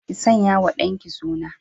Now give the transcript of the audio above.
Ki sanyawa dan ki suna.